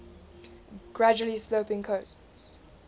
gradually sloping coasts